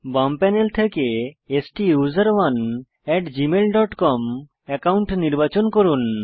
বাম প্যানেল থেকে STUSERONEgmail dot com account নির্বাচন করুন